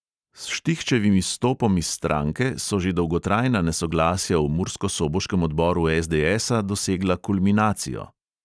S štihčevim izstopom iz stranke so že dolgotrajna nesoglasja v murskosoboškem odboru SDSa dosegla kulminacijo.